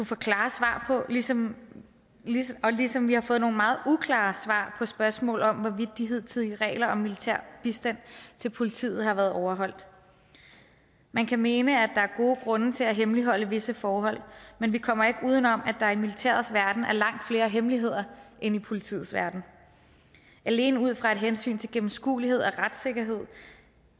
få klare svar på ligesom ligesom vi har fået nogle meget uklare svar på spørgsmål om hvorvidt de hidtidige regler om militær bistand til politiet har været overholdt man kan mene at der er gode grunde til at hemmeligholde visse forhold men vi kommer ikke uden om at der i militærets verden er langt flere hemmeligheder end i politiets verden alene ud fra et hensyn til gennemskuelighed og retssikkerhed